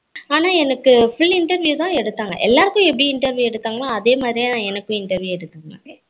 ஆனா எனக்கு full interview தான் எடுதாங்க எல்லாருக்கும் எப்படி interview எடுத்தங்களோ அதே மாதிரியேதான் எனக்கு எடுத்தாங்க